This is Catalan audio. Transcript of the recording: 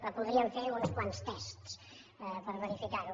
però podríem fer uns quants tests per verificar ho